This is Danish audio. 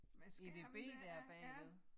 Med skærmen dér ja